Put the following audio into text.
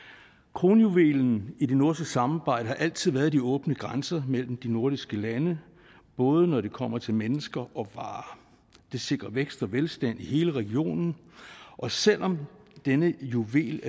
kronjuvelen i det nordiske samarbejde har altid været de åbne grænser mellem de nordiske lande både når det kommer til mennesker og varer det sikrer vækst og velstand i hele regionen og selv om denne juvel